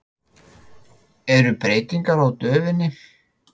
Eru breytingar á döfinni?